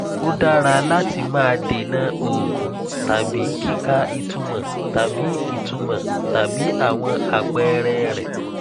ó dára láti má dènà òògùn tàbí kíkà ìtumọ tàbí ìtumọ tàbí àwọn àpẹẹrẹ rẹ